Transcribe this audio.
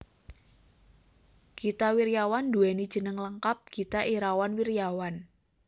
Gita Wirjawan nduwèni jeneng lengkap Gita Irawan Wirjawan